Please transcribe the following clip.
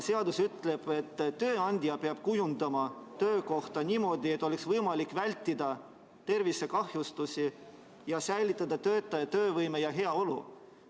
Seadus ütleb, et tööandja peab kujundama töökoha niimoodi, et oleks võimalik vältida tervisekahjustusi ja säilitada töötajate töövõime ja heaolu.